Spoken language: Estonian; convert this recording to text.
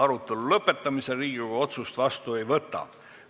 Arutelu lõpetamisel Riigikogu otsust vastu ei võta.